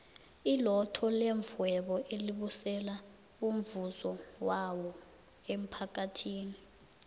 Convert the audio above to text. ilotto levhwebo elibusela umvuzo wawo emmphakathini